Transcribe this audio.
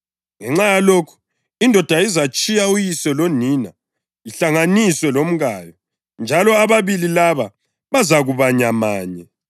“Ngenxa yalokhu indoda izatshiya uyise lonina ihlanganiswe lomkayo njalo ababili laba bazakuba nyamanye.” + 5.31 UGenesisi 2.24